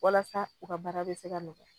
Walasa u ka baara bɛ se ka nɔgɔya